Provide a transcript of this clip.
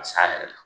Ka s'a yɛrɛ la